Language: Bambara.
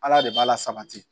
Ala de b'a lasabati